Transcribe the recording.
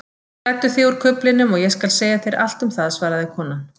Klæddu þig úr kuflinum og ég skal segja þér allt um það svaraði konan.